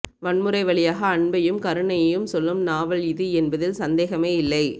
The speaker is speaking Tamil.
வன்முறை வழியாக அன்பையும் கருணையையும் சொல்லும் நாவல் இது என்பதில் சந்தேகமே இல்லை